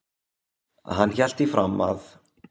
Hann hélt því fram að